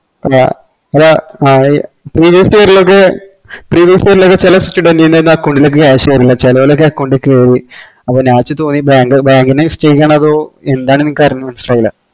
അപ്പൊ ചെല student ന് account ലെക് ash കേറില്ല ചേലോൽക്കൊക്കെ account കേറി അപ്പൊ എന്താണെന്ന് എനിക്കറിഞ്ഞു മനസ്സിലായില്ല